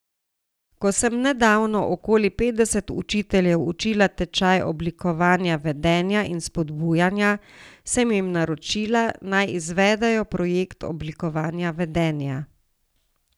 Ko sem nedavno okoli petdeset učiteljev učila tečaj oblikovanja vedenja in spodbujanja, sem jim naročila, naj izvedejo projekt oblikovanja vedenja.